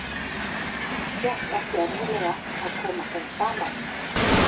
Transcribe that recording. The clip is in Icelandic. Gekk ekki erfiðlega að koma þeim saman?